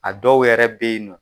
A dɔw yɛrɛ be yen nɔ